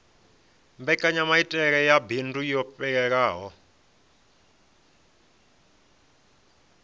mbekanyamaitele ya bindu yo fhelelaho